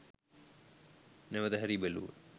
නැවත හැරී බැලූහ.